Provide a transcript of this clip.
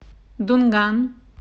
дунган